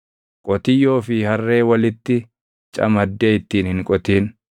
Qotiyyoo fi harree walitti camaddee ittiin hin qotin.